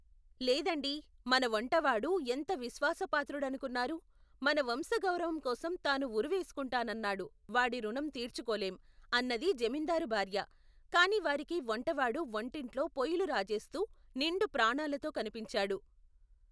లేదండీ, మన వంటవాడు ఎంత విశ్వాసపాత్రుడనుకున్నారు? మన వంశ గౌరవంకోసం తాను ఉరి వేసుకుంటానన్నాడు వాడి రుణం తీర్చుకోలేం! అన్నది జమిందారు భార్య, కాని వారికి వంటవాడు వంటింట్లో పొయిలు రాజేస్తూ నిండు ప్రాణాలతో కనిపించాడు.